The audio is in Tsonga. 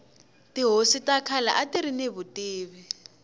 tihosi ta khale atiri ni vutivi